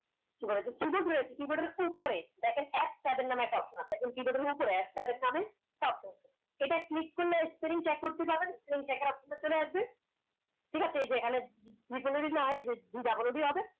কি বলে keyboard এর keyboard এর উপরে দেখেন F seven নামে একটা option আছে একদম keyboard এর উপরে এটা click করলে spelling check করতে পারেন checker option টা চলে আসবে ঠিক আছে এই যে এখানে G double হবে